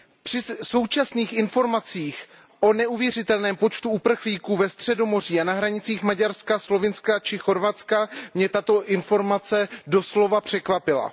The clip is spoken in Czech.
Při současných informacích o neuvěřitelném počtu uprchlíků ve Středomoří a na hranicích Maďarska, Slovinska či Chorvatska mě tato informace doslova překvapila.